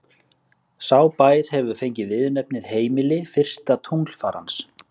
Sá bær hefur fengið viðurnefnið heimili fyrsta tunglfarans.